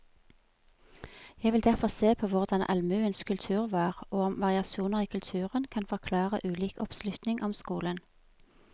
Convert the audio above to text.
Jeg vil derfor se på hvordan allmuens kultur var, og om variasjoner i kulturen kan forklare ulik oppslutning om skolen.